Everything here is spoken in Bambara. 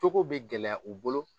cogo bɛ gɛlɛya u bolo.